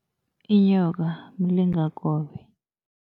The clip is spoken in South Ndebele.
Inyoka mlingakobe.